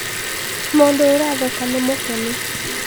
mũndũ ũratheka nĩ mũkenũ